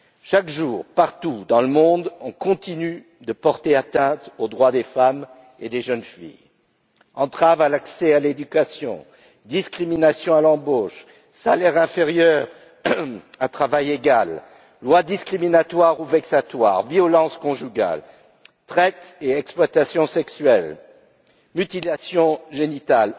Chaque jour, partout dans le monde, on continue de porter atteinte aux droits des femmes et des jeunes filles entraves à l'accès à l'éducation, discriminations à l'embauche, salaire inférieur à travail égal, lois discriminatoires ou vexatoires, violences conjugales, traite et exploitation sexuelle, mutilations génitales.